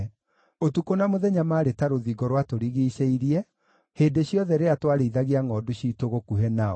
Ũtukũ na mũthenya maarĩ ta rũthingo rwatũrigiicĩirie hĩndĩ ciothe rĩrĩa twarĩithagia ngʼondu ciitũ gũkuhĩ nao.